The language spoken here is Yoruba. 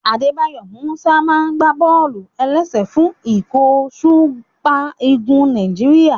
Adébáyọ̀ Músà máa n gbá bọ́ọ̀lù-ẹlẹ́sẹ̀ fún ikọ̀ súpà Ígù Nàìjíríyà